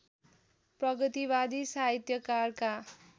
प्रगतिवादी साहित्यकारका